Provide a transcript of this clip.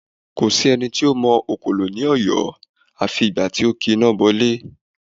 Kò sí ẹni tó mọ òkòlò ní Ọ̀yọ́ afi ìgbà tí ó ki iná bọ ilé